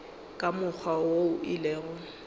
ka mokgwa wo e lego